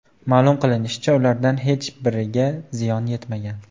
Ma’lum qilinishicha, ulardan hech biriga ziyon yetmagan.